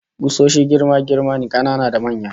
Kusoshi girma-girma ne, kanana da manya